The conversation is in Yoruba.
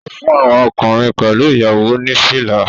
Ó fún àwọn ọkùnrin pẹ̀lú ìyàwó ní fìlà